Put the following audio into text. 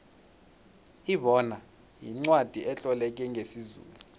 ibona yincwacli etloleke ngesizulu